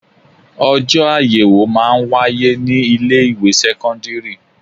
Ojọ́ ayẹwo máa ń wáyé ní ilé ìwé sẹ́kọ́ńdírì.